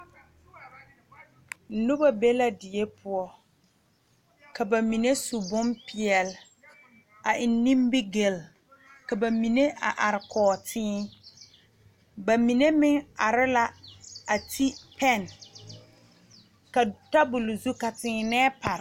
Nobɔ be la die poɔ ka ba mine su bonpeɛle a wo nimigyile ka ba mine a are kɔge tēē ba mine meŋ are la a ri pɛn ka tabol zu ka tēēnɛɛ pare.